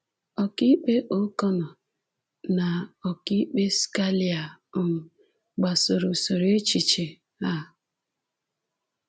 Ọkaikpe O’Connor na Ọkaikpe Scalia um gbasoro usoro echiche a.